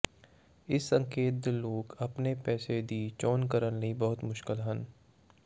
ਇਸ ਸੰਕੇਤ ਦੇ ਲੋਕ ਆਪਣੇ ਪੇਸ਼ੇ ਦੀ ਚੋਣ ਕਰਨ ਲਈ ਬਹੁਤ ਮੁਸ਼ਕਲ ਹਨ